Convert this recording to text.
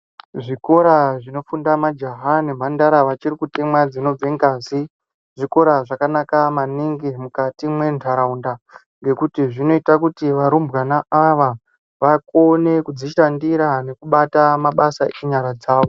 Zvikora zvinopinda majaha nemhandara vachiri kutemwa dzinobva ngazi zvikora zvakanaka maningi mukati mendaraunda ngekuti zvinoita kuti varumbwana ava vakone kudzishandira nekubata mabasa enyara dzawo.